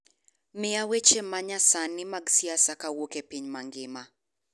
miya weche ma nyasani mag siasa kowuok e piny mangima